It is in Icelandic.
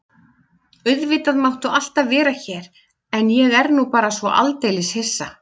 Auðvitað máttu alltaf vera hér en ég er nú bara svo aldeilis hissa.